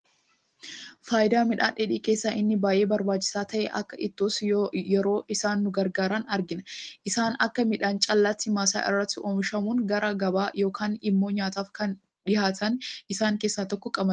Fayidaa midhaan dheedhii keessaa inni baayyee barbaachisaa ta'e, akka ittoottis yeroo isaan nu gargaaran argina. Isaanis akka midhaan callaatti, maasaa irratti oomishamuun gara gabaa yookaan immoo nyaataaf kan dhihaatanidha. Isaan keessaa tokko qamadiidha.